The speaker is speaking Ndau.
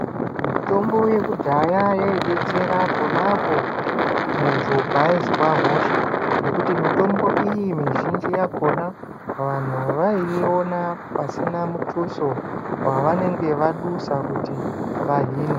Mitombo yekudhaya yaidetsera ponapo muntu paaizwa hosha. Ngekuti mitombo iyi mizhinji yakona vanhu vaiiona pasina mutuso wavanenge vadusa kuti vahinwe.